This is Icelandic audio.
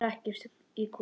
Ég hrekk í kút.